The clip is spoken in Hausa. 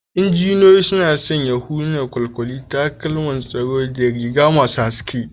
Injiniyoyi suna sanya hular kwalkwali, takalman tsaro da riga masu haske.